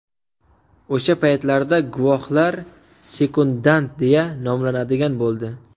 O‘sha paytlarda guvohlar sekundant deya nomlanadigan bo‘ldi.